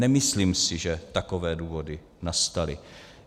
Nemyslím si, že takové důvody nastaly.